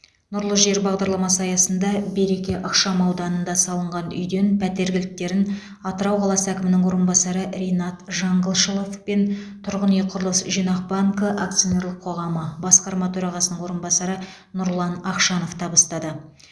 нұрлы жер бағдарламасы аясында береке ықшамауданында салынған үйден пәтер кілттерін атырау қаласы әкімінің орынбасары ринат жаңғылшылов пен тұрғын үй құрылыс жинақ банкі акционерлік қоғамы басқарма төрағасының орынбасары нұрлан ақшанов табыстады